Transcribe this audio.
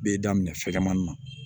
B'e da minɛ fɛgɛnmani na